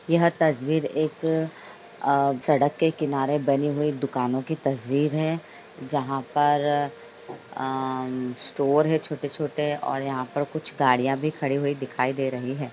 यह तस्वीर एक अ सड़क के किनारे बनी हुई दुकानों की तस्वीर है जहाँ पर अ म स्टोर है छोटे-छोटे और यहां पर कुछ गाड़ियां भी खड़ी हुई दिखाई दे रही हैं ।